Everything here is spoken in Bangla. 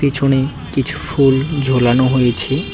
পিছনে কিছু ফুল ঝোলানো হয়েছে যগ।